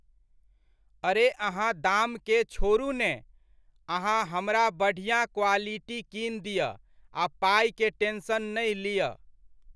अरे अहाँ दामकेँ छोड़ु ने, अहाँ हमरा बढ़िआँ क्वालिटी कीन दिअ आ पाइके टेन्शन नहि लीअ।